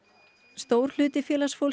stór hluti